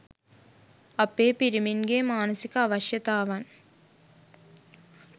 අපේ පිරිමින්ගේ මානසික අවශ්‍යතාවන්